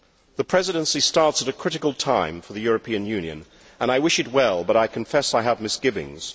The Presidency starts at a critical time for the European Union and I wish it well, but I confess I have misgivings.